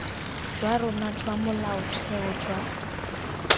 jwa rona jwa molaotheo jwa